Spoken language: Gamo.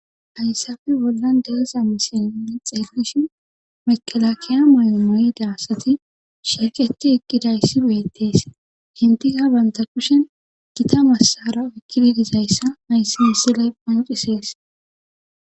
Haysappe bollan diza misile nuni xelishn mekelakiya asati eqidaysi betes, enitika banta kushen Gita Masara oykidi dizaysa haysi misilez qoncises.